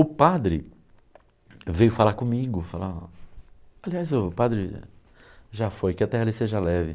O padre veio falar comigo, falar ó, aliás, o padre já foi, que a Terra lhe seja leve.